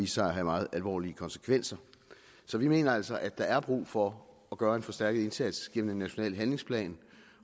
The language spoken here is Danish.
sig at have meget alvorlige konsekvenser så vi mener altså at der er brug for at gøre en forstærket indsats gennem en national handlingsplan